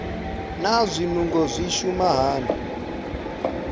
naa zwinungo zwi shuma hani